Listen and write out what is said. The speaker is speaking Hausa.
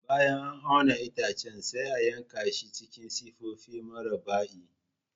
Bayan an auna itacen, sai a yanka shi cikin siffofi murabba'i.